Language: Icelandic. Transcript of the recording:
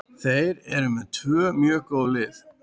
Þeir eru með tvö mjög góð lið.